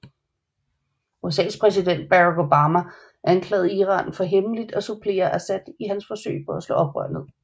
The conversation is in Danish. USAs præsident Barack Obama anklagede Iran for hemmeligt at supplere Assad i hans forsøg på at slå oprør ned